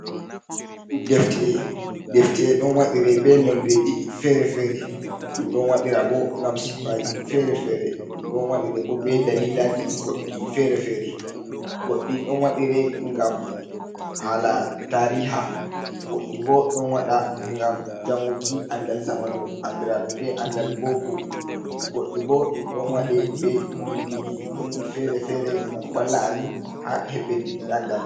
Ɗefti’e ɗon wadire be noldeji fere-fere. Ɗum ɗon waɗira bo ngam sippaji fere-fere. Ɗum ɗon waɗire bo be dalilaji goɗɗi fere-fere. Goɗɗi ɗon wadire ngam hala tariha. Goɗɗi bo ɗon waɗa ngam janguki anɗal zamanu. anɗiraɗum be andal boko. Goɗɗi bo ɗum ɗon waɗe be binɗiji goɗɗi fere-fere ngam valla amin ha beɗɗuki anɗal.